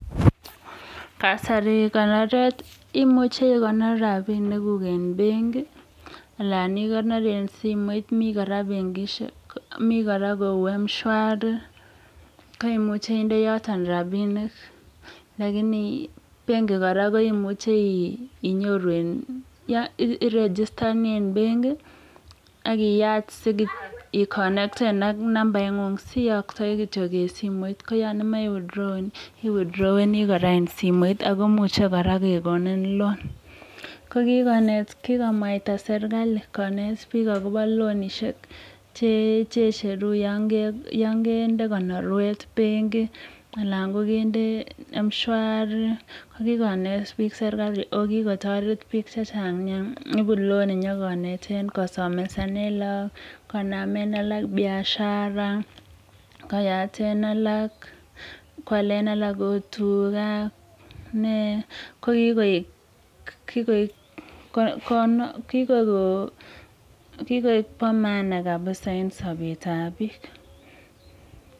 Kasir konoret, imuche ikonor rabiniguk en benki anan ikonor en simoit. Mi kora kou M-Shwari koimuche inde yoto rabinik. Lakini kora benki koimuche inyoru, iregistani en benkit ak iyaat ikonekten ak nambaing'ung siiyoktoi kityo en simoit. Ko yon imoche iwithdrowen, iwithhdroweni kora en simoit ago imuche kora kegonin loan . Ko kigonet, kigomwaita serkalit konet biik agobo loanishek che icheru yon kende konorwet benki anan kogende M-Shwari, kooginet biik serkalit ago kigotoret biik chechang nyaa. Ibu loan inyokoneten, kosomesanen lagok, konamen alak biashara koyaten alak, koalen alak ot tuga, nee. Ko kigoik bo maana kabisa en sobetab biik.